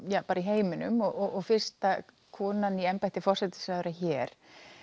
bara í heiminum og fyrsta konan í embætti forsætisráðherra hér